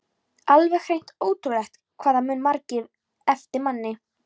Alveg hreint ótrúlegt hvað það muna margir eftir manni!